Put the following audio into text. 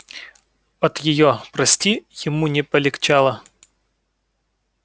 от её прости ему не полегчало